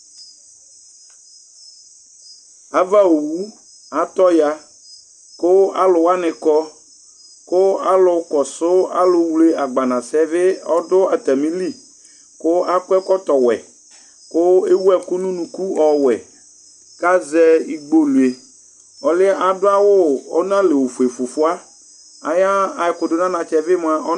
ava wu atɔ ya ku alu wani kɔ ku alu kɔsu alu wlé agbanasɛ bi ɔdu atami li ku akɔ ɛkɔtɔ wɛ ku ɛwu ɛku nu unuku ɔwɛ ka zɛ igbolué ɔluɛ adu awu ɔnalɛ ofué fufua ayu ɛku du anatsɛ bi mua